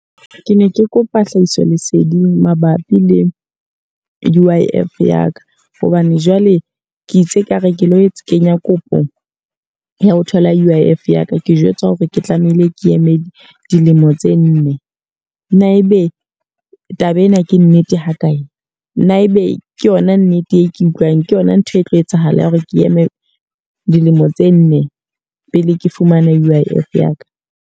Ke ne ke kopa hlahiso leseding mabapi le U_I_F ya ka. Hobane jwale ke itse ka re ke lo kenya kopo ya ho thola U_I_F ya ka. Ke jwetswa hore ke tlameile ke eme dilemo tse nne. Na e be taba ena ke nnete ha kae? Na e be ke yona nnete e ke utlwang? Ke yona ntho e tlo etsahala ya hore ke eme dilemo tse nne pele ke fumana U_I_F ya ka?